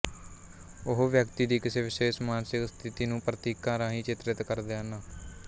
ਉਹ ਵਿਅਕਤੀ ਦੀ ਕਿਸੇ ਵਿਸ਼ੇਸ਼ ਮਾਨਸਿਕ ਸਥਿਤੀ ਨੂੰ ਪ੍ਰਤੀਕਾਂ ਰਾਹੀਂ ਚਿਤਰਿਤ ਕਰਦੇ ਹਨ